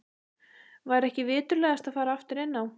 Væri ekki viturlegast að fara aftur inn á